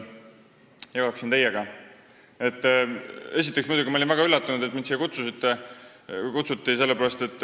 Esiteks, ma olin muidugi väga üllatunud, et mind siia kutsuti.